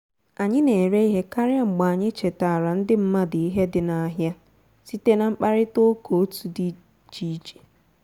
anyị na-ere ihe karịa mgbe anyị chetaara ndị mmadụ ihe dị n'ahịa site na mkparịta ụka otu di iche iche